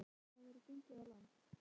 Einsog ólgandi hafið væri gengið á land.